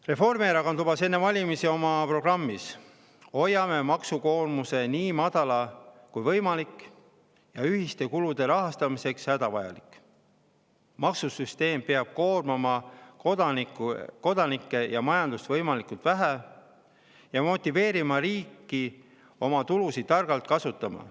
Reformierakond lubas enne valimisi oma programmis, et nad hoiavad maksukoormuse nii madalal kui võimalik ja ühiste kulude rahastamiseks hädavajalik, sest maksusüsteem peab koormama kodanikke ja majandust võimalikult vähe ning motiveerima riiki oma tulusid targalt kasutama.